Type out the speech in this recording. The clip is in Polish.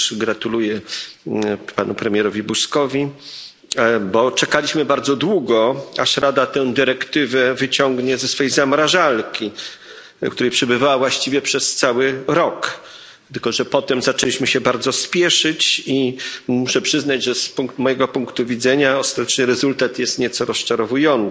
Toteż gratuluję panu premierowi Buzkowi, bo czekaliśmy bardzo długo, aż Rada tę dyrektywę wyciągnie ze swej zamrażarki, w której przebywała właściwie przez cały rok. Tylko że potem zaczęliśmy się bardzo spieszyć i muszę przyznać, że z mojego punktu widzenia ostateczny rezultat jest nieco rozczarowujący.